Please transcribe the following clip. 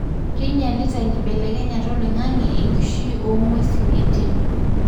kinyialita enkibelekenyata oloingange enkishui ongwesin entim.